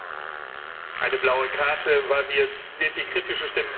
Eine blaue Karte, weil wir jetzt sehr viele kritische Stimmen gehört haben.